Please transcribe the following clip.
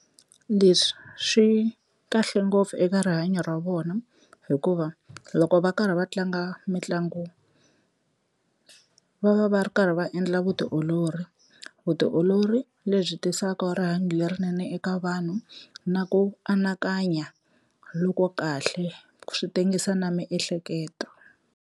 Leswi swi kahle ngopfu eka rihanyo ra vona hikuva loko va karhi va tlanga mitlangu va va va ri karhi va endla vutiolori, vutiolori lebyi tisaka rihanyo lerinene eka vanhu na ku anakanya loko kahle swi tengisiwa na miehleketo.